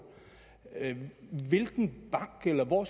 hvilken bank eller hvor